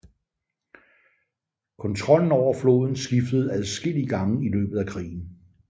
Kontrollen over floden skiftede adskillige gange i løbet af krigen